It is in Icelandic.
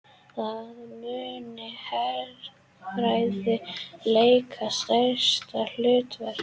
Þar muni herfræði leika stærra hlutverk